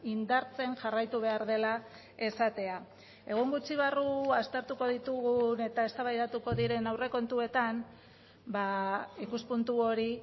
indartzen jarraitu behar dela esatea egun gutxi barru aztertuko ditugun eta eztabaidatuko diren aurrekontuetan ikuspuntu hori